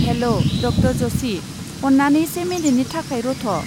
हेल' ड. जशि, अन्नानै से मिनिटनि थाखाय रथ'।